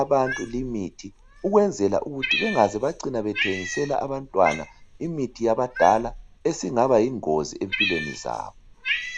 abantu limithi ukwenzela ukuthi bengaze bacina bethengisela abmtwana imithi yabadala esingabayingozi empilweni zabo.